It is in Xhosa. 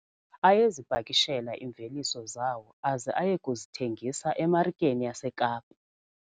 Ayezipakishela iimveliso zawo aze aye kuzithengisa emarikeni yaseKapa.